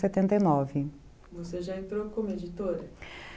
e nove. Você já entrou como editora?